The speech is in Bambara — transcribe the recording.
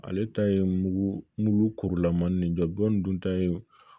Ale ta ye mugu kurulaman nin jɔbɔn dun ta ye